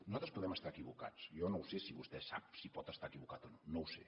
nosaltres podem estar equivocats jo no ho sé si vostè sap si pot estar equivocat o no no ho sé